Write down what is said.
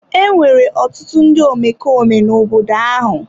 Enwere ọtụtụ ndị omekome n'obodo ahụ.